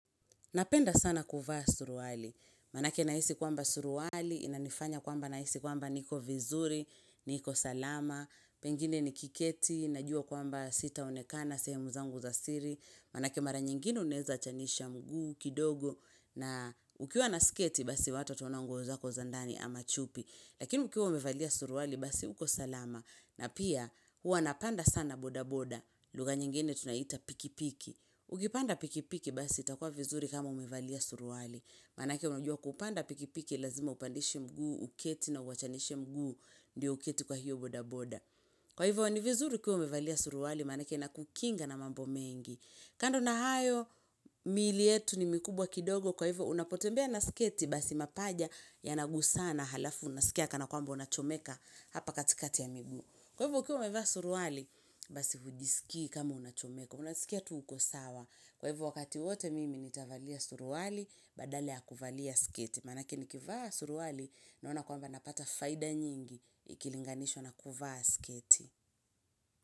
Napenda sana kuvaa suruwali. Manake naisi kwamba suruwali, inanifanya kwamba naisi kwamba niko vizuri, niko salama, pengine nikiketi, najua kwamba sitaonekana, sehemu zangu za siri, manake mara nyingine unaeza achanisha mguu, kidogo, na ukiwa na sketi basi watu wataona nguo zako za ndani ama chupi. Lakini ukiwa umevalia suruwali basi uko salama na pia huwa napanda sana boda boda. Luga nyingine tunaita pikipiki. Ukipanda pikipiki basi itakuwa vizuri kama umevalia suruwali. Manake unajua kupanda pikipiki lazima upandishe mguu, uketi na uachanishe mguu. Ndiyo uketi kwa hiyo boda boda. Kwa hivyo ni vizuri ukiwa umevalia suruwali manake ina kukinga na mambo mengi. Kando na hayo miili yetu ni mikubwa kidogo kwa hivyo unapotembea na sketi basi mapaja ya nagusana halafu unasikia kana kwamba unachomeka hapa katikati ya miguu. Kwa hivyo ukiwa umevaa suruwali basi hujisikii kama unachomeka unasikia tu uko sawa. Kwa hivo wakati wote mimi nitavalia suruwali badala ya kuvalia sketi. Manake ni kivaa suruwali naona kwamba napata faida nyingi ikilinganishwa na kuvaa sketi.